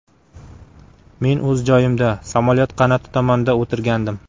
Men o‘z joyimda, samolyot qanoti tomonda o‘tirgandim.